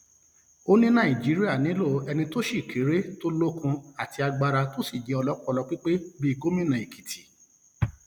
ó ní nàìjíríà nílò ẹni tó sì kéré tó lókun àti agbára tó sì jẹ ọlọpọlọ pípé bíi gómìnà èkìtì